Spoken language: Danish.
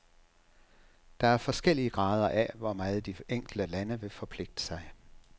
Der er forskellige grader af, hvor meget de enkelte lande vil forpligte sig.